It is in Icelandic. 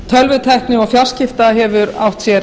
tölvutækni og fjarskipta hefur átt sér